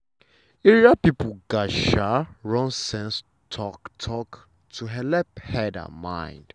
area people gatz um run sense talk-talk to helep head and mind.